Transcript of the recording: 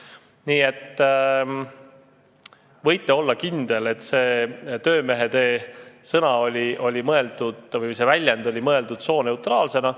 Nii et võite olla kindel, et sõna "töömehetee" oli mõeldud sooneutraalsena.